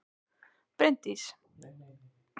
Bryndís: Og hvað veldur þessari aukningu að ykkar mati?